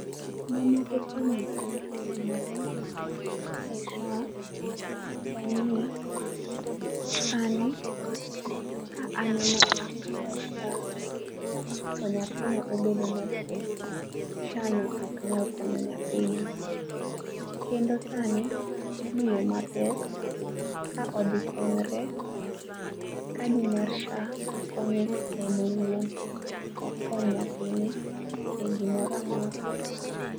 Ma moko kuom gik ma osetimore e sha, en ni sani ka an ema akawo sha to nyathina obedo ma two, sha no ok nyal konyo nyathina kendo sani miyo ma pek ka odhi konyore, kadi mar sha konye en owuon ok kony nyathine e gi moro amora.